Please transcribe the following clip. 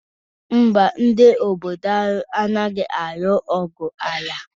Mba, ndị obodo anyị anaghị alụ ọgwụ ala.